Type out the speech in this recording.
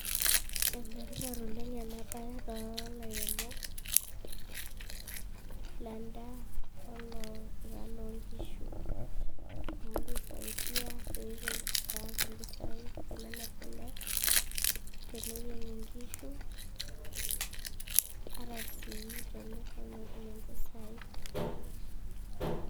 Ene tipat oleng ena bae too ilairemok lendaa oloongishu amu keisaidiapeayaki impisai tenemir kule tenetieng inkishu ataa sii ilchanito naa ketum impesai.